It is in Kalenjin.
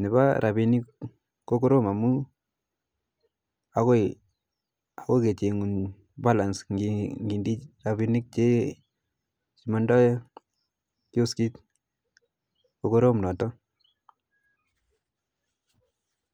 nepo rabinik ko korom amu ako kechengun balance ngindii rabinik che mandoi kioskit ko korom noto